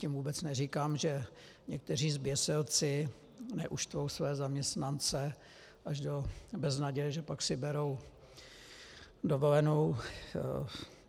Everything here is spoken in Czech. Tím vůbec neříkám, že někteří zběsilci neuštvou své zaměstnance až do beznaděje, že si pak berou dovolenou.